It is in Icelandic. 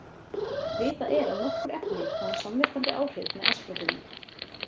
Vitað er að nokkur efni hafa samverkandi áhrif með estrógeni.